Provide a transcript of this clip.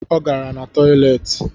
O gara na toileti